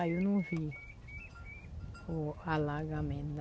Aí eu não vi o alagamento.